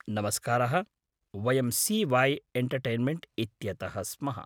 नमस्कारः, वयं सी.वै. एण्टर्टेन्मेण्ट् इत्यतः स्मः।